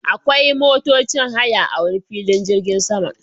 Akwai motocin haya a wane filin jirgin sama